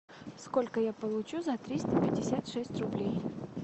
сколько я получу за триста пятьдесят шесть рублей